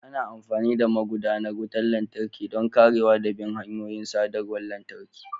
Ana amfani da magudanar wutar lantarki don karewa da bin hanyoyin sadarwar lantarki.